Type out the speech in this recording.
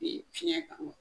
U ye fiŋɛn kanu